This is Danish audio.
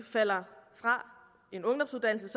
falder fra en ungdomsuddannelse